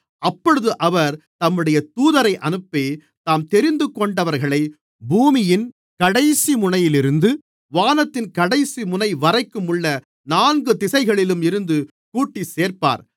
அப்பொழுது அவர் தம்முடைய தூதரை அனுப்பி தாம் தெரிந்துகொண்டவர்களை பூமியின் கடைசிமுனையிலிருந்து வானத்தின் கடைசிமுனை வரைக்கும் உள்ள நான்கு திசைகளிலும் இருந்து கூட்டிச் சேர்ப்பார்